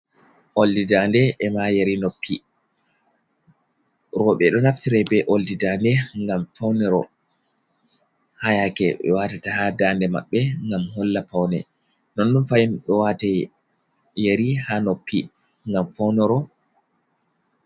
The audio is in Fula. Oldi dande ema yeri noppi, rowɓe ɗo naftira be oldi dande ngam pawniro. Haa yaake ɓe watata haa dande maɓɓe, ngam holla pawne ,nonnun fahin ɓe waata yeri haa noppi ngam pawniro.